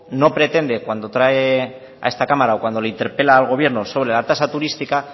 no pretende cuando trae a esta cámara o cuando le interpela al gobierno sobre la tasa turística